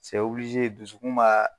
dusukun b'a